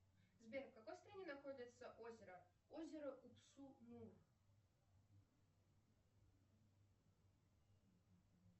сбер в какой стране находится озеро озеро удсумур